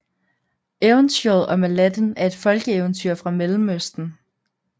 Eventyret om Aladdin er et folkeeventyr fra Mellemøsten